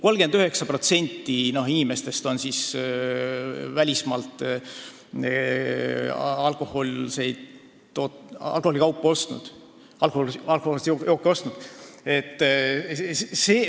39% inimestest on välismaalt alkohoolseid jooke ostnud.